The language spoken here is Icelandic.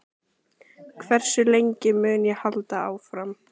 Erla, hvað áhrif mun þessi lagabreyting hafa á hagi fjölskyldunnar?